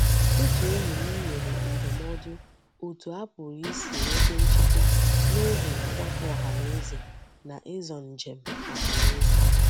Otu enyi m nyere ndumodu otu a puru isi nweta nchekwa n'oge ogbako ohaneze na izo njem ohaneze.